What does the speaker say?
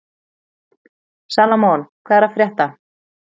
Salómon, hvað er að frétta?